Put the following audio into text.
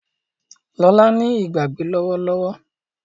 Lola ní Ìgbàgbé lówó lówó.